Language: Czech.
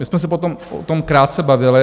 My jsme se potom o tom krátce bavili.